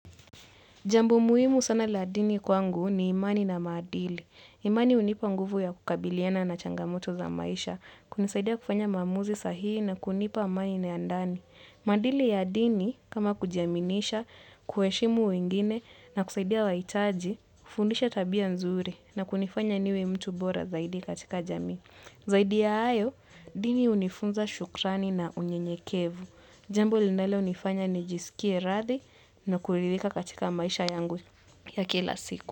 Jambo muhimu sana la dini kwangu ni imani na maadili. Imani hunipa nguvu ya kukabiliana na changamoto za maisha, hunisaidia kufanya maamuzi sahii na kunipa amani nayandani. Maadili ya dini, kama kujiaminisha, kuheshimu wengine na kusaidia wa itaji, hufundisha tabia nzuri na kunifanya niwe mtu bora zaidi katika jamii. Zaidi ya hayo, dini hunifunza shukrani na unyenyekevu. Jambo linalo nifanya ni jisikie radi na kuridhika katika maisha yangu ya kila siku.